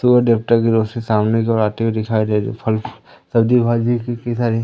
सूर्य देवता की रोशनी सामने की ओर आती हुई दिखाई दे रही फल सब्जी भाजी कितनी सारी--